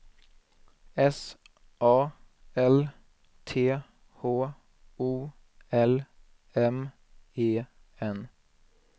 S A L T H O L M E N